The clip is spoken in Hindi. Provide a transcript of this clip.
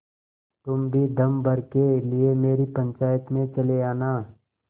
तुम भी दम भर के लिए मेरी पंचायत में चले आना